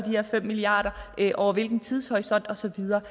her fem milliard kr over hvilken tidshorisont og så videre